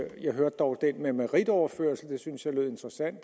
hørte dog den med meritoverførsel og det synes jeg lød interessant